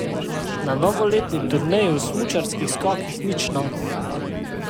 Na novoletni turneji v smučarskih skokih nič novega.